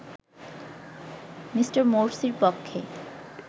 Me. মোরসির পক্ষে